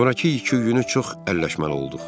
Sonrakı iki günü çox əlləşməli olduq.